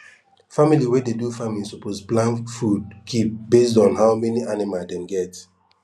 family wey dey do farming suppose plan food keep based on how many anima dem get